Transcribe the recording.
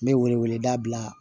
N bɛ wele wele da bila